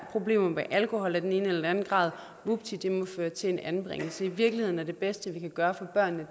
problemer med alkohol i en eller anden grad vupti det må føre til en anbringelse i virkeligheden er det bedste vi kan gøre for børnene